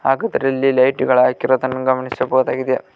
ಹಾಗು ಇದರಲ್ಲಿ ಲೈಟ್ ಗಳು ಹಾಕಿರುವುದನ್ನು ಗಮನಿಸಬಹುದಾಗಿದೆ.